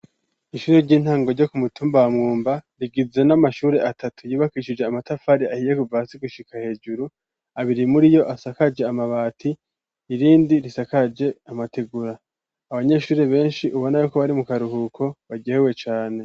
Ishuri ry'intango ryo ku mutumba Mwumba, rigizwe n'amashuri atatu yubakishije amatafari ahiye kuva hasi gushika hejuru, abiri muri yo asakaje amabati, irindi risakaje amategura, abanyeshuri benshi ubona yuko bari mu karuhuko, baryohewe cane.